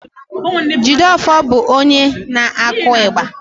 Jideofor bụ onye na-akụ igba